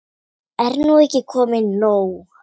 Er nú ekki komið nóg?